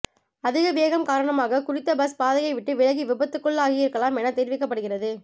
அதிக வேகம் காரணமாக குறித்த பஸ் பாதையைவிட்டு விலகி விபத்துக்குள்ளாகியிருக்கலாம் என தெரிவிக்கப்படுகிறது